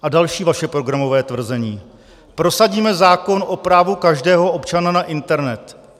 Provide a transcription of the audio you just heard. A další vaše programové tvrzení: "Prosadíme zákon o právu každého občana na internet."